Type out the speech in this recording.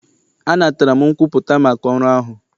Anatara m nkwupụta maka ọrụ ahụ.